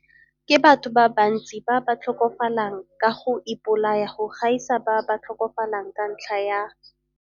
Ke batho ba bantsi ba ba tlhokafalang ka go ipolaya go gaisa ba ba tlhokafalang ka ntlha ya